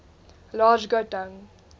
large goat dung